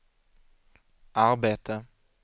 arbete